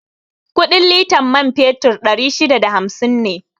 Kuɗin litan man fetur ɗari shida da hamsin ne